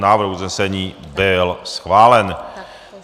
Návrh usnesení byl schválen.